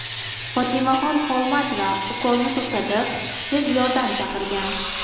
Fotimaxon Xolmatova ukolni to‘xtatib, tez yordam chaqirgan.